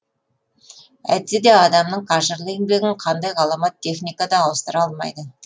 әйтсе де адамның қажырлы еңбегін қандай ғаламат техника да ауыстыра алмайды